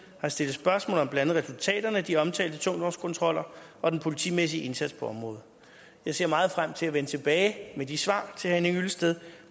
har stillet spørgsmål om blandt andet resultaterne af de omtalte tungvognskontroller og den politimæssige indsats på området jeg ser meget frem til at vende tilbage med de svar til herre henning hyllested